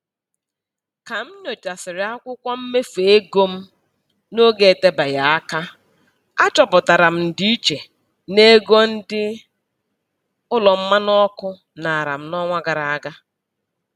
Ka m nyochasịrị akwụkwọ mmefu ego m n'oge etebeghị aka, achọpụtara m ndịiche n'ego ndị ụlọ mmanụ ọkụ nara m n'ọnwa gara aga.